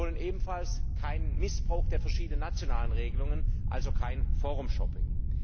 Wir wollen ebenfalls keinen Missbrauch der verschiedenen nationalen Regelungen, also kein forum shopping